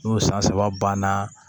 N'o san saba banna